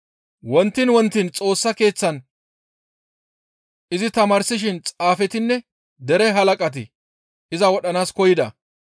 Wontiin wontiin Xoossa Keeththan izi tamaarsishin xaafetinne dere halaqati iza wodhanaas koyida.